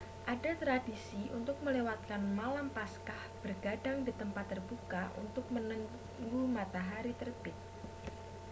ada tradisi untuk melewatkan malam paskah bergadang di tempat terbuka untuk menunggu matahari terbit